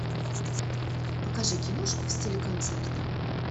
покажи киношку в стиле концерта